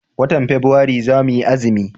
watan fabuari zamu yi azumi